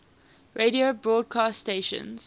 radio broadcast stations